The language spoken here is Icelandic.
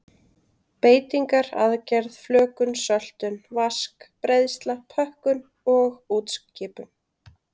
Beitingar, aðgerð, flökun, söltun, vask, breiðsla, pökkun og útskipun.